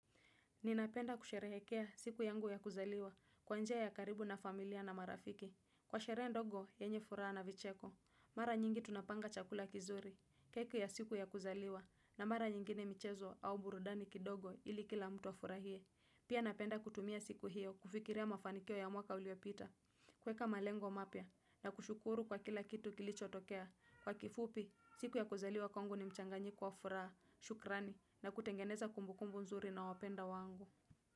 Ninapenda kusherehekea siku yangu ya kuzaliwa kwa njia ya karibu na familia na marafiki. Kwa sherehe ndogo, yenye furaha na vicheko. Mara nyingi tunapanga chakula kizuri, keki ya siku ya kuzaliwa na mara nyingine michezo au burudani kidogo ili kila mtu afurahie. Pia napenda kutumia siku hiyo kufikiria mafanikio ya mwaka uliopita. Kuweka malengo mapya na kushukuru kwa kila kitu kilicho tokea. Kwa kifupi, siku ya kuzaliwa kwangu ni mchanganyiko wa furaha. Shukrani na kutengeneza kumbukumbu mzuri na wapendwa wangu.